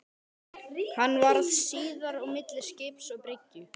Hann varð síðar á milli skips og bryggju.